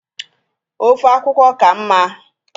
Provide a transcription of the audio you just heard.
ofe akwukwo ka mma?